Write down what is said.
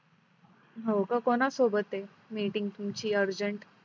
हो का कोना सोबत आहे meeting तुमची urgent